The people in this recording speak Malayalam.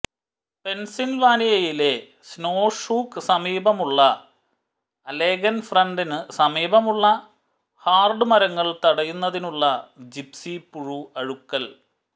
പെൻസിൽവാനിയയിലെ സ്നോ ഷൂക്ക് സമീപമുള്ള അലെഗെൻ ഫ്രണ്ടിനു സമീപമുള്ള ഹാർഡ് മരങ്ങൾ തടയുന്നതിനുള്ള ജിപ്സി പുഴു അഴുകൽ